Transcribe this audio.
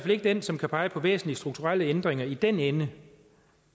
ikke den som kan pege på væsentlige strukturelle ændringer i den ende